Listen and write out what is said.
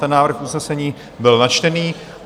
Ten návrh usnesení byl načtený.